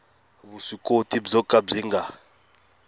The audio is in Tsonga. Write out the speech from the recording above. vuswikoti byo ka byi nga